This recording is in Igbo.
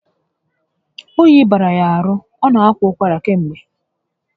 Oyi bara ya ahụ, ọ na akwa ụkwara kamgbe